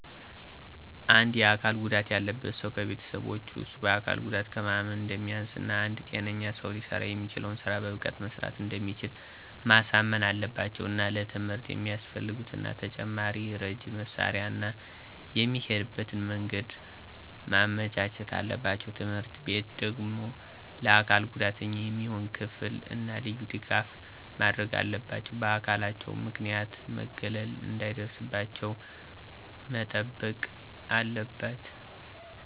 አንድ የአካል ጉዳት ያለበት ሠው ከቤተሠቦቹ እሱ በአካል ጉዳቱ ከማንም አንደማያንስ እና አንድ ጤነኛ ሰው ሊሠራ የሚችለውን ስራ በብቃት መስራት እንደሚችል ማሳመን አለባቸው። እና ለትምህርት የሚያፈልጉትን እና ተጨማሪ ረጂ መሳሪያ እና የሚሄድበትን መንገድ ማመቻቸት አለባቸው። ትምህርትቤቱ ደግሞ ለአካል ጉዳተኛ የሚሆን ክፍል እና ልዩ ድጋፍ ማድረግ አለባቸው። በአካላቸው ምክንያት መገለል እነሰዳይደርስባቸው መጠበቅ አለበት።